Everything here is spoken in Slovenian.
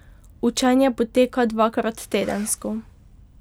Učenje poteka dvakrat tedensko.